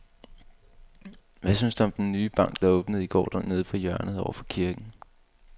Hvad synes du om den nye bank, der åbnede i går dernede på hjørnet over for kirken?